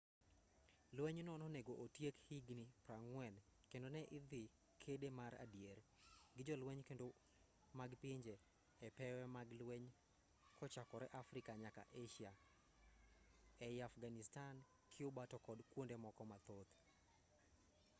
lwenyno nonego otiek higni 40 kendo ne idhi kede mar adier gi jolwenj kedo mag pinje e pewe mag lweny kochakore afrika nyaka asia ei afghanistan cuba to kod kwonde moko mathoth